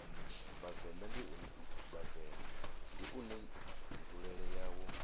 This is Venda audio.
vhavenḓa ndi une nzulele yawo